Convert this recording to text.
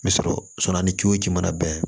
N bɛ sɔrɔ a ni ce o ji mana bɛn